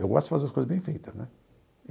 Eu gosto de fazer as coisas bem feitas né.